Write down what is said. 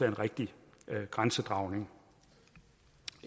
en rigtig grænsedragning